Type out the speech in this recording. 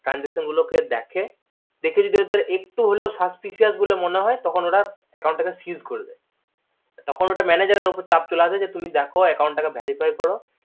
transaction গুলো কে দেখে দেখে যদি ওদের একটুকুও suspecious বলে মনে হয় তখন ওরা account তাকে siege করে দেয় তখন ওটা manager এর উপর চাপ চলে আসে তুমি দেখো account তাকে verify করো